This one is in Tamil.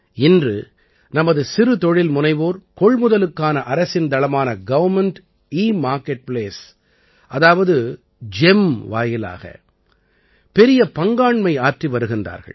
இன்று நமது சிறு தொழில்முனைவோர் கொள்முதலுக்கான அரசின் தளமான கவர்ன்மென்ட் எமார்கெட் பிளேஸ் அதாவது ஜிஇஎம் வாயிலாக பெரிய பங்காண்மை ஆற்றி வருகின்றார்கள்